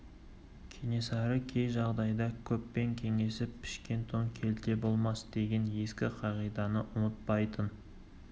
кенесары кей жағдайда көппен кеңесіп пішкен тон келте болмас деген ескі қағиданы ұмытпайтын